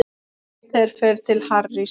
Peter fer til Harrys.